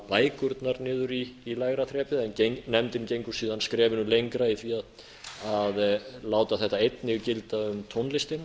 bækurnar niður í neðra þrepið en nefndin gengur síðan skrefinu lengra í því að láta þetta einnig gilda um tónlistina